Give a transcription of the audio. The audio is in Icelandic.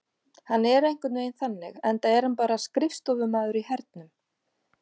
Hann er einhvern veginn þannig enda er hann bara skrifstofumaður í hernum.